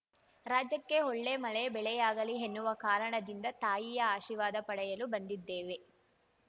ರಾಜ್ಯಕ್ಕೆ ಒಳ್ಳೆ ಮಳೆ ಬೆಳೆಯಾಗಲಿ ಎನ್ನುವ ಕಾರಣದಿಂದ ತಾಯಿಯ ಆಶೀರ್ವಾದ ಪಡೆಯಲು ಬಂದಿದ್ದೇವೆ